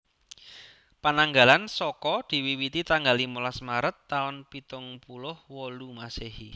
Pananggalan Saka diwiwiti tanggal limolas Maret taun pitung puluh wolu Masèhi